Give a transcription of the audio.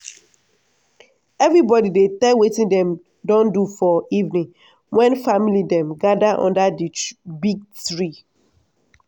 everibodi dey tell wetin dem don do for evening when family dem gather under di big tree.